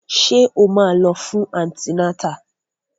Ṣé o máa lọ fún antinátà?